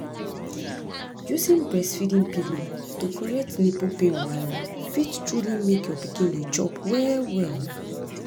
using breastfeeding pillows to correct nipple pain wahala fit truly make your pikin dey chop well well